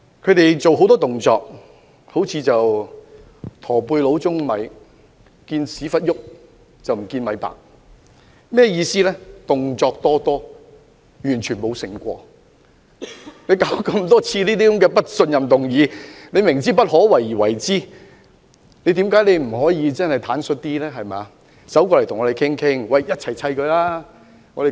他們做了很多動作，好像"駝背佬舂米"般，"見屁股動，卻不見米白"，意思是他們動作多多，卻完全沒有清醒過來，他們多次提出不信任議案，明知不可為而為之，為何他們不能坦率一點，與我們商討，大家談妥後一起對付她？